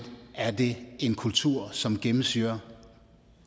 er det en kultur som gennemsyrer